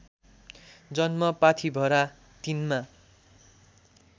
जन्म पाथीभरा ३मा